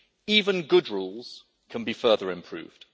Even good rules can be further improved.